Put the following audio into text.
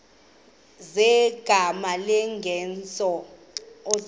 zegama lesngesn authorit